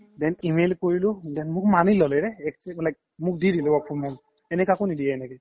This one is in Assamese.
then email কৰিলো then মোক মানি ল্'লে ৰে মোক দি দিলে work from home এনে কাকো নিদিয়ে এনেকে